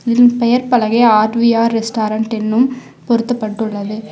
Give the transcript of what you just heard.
இதில் பெயர் பலகை ஆர்_வி_ஆர் ரெஸ்டாரன்ட் என்னும் பொருத்தப்பட்டுள்ளது.